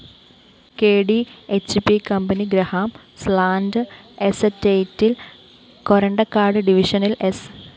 K D H P company Grahamsland എസേറററ്റില്‍ കൊരണ്ടക്കാട് ഡിവിഷനില്‍ സ്‌